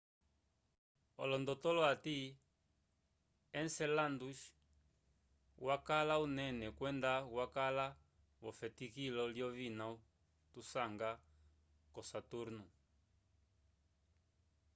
olondotolo ati enceladus wakala unene kwenda wakala vo efetikilo lyovina tusanga k'osaturnu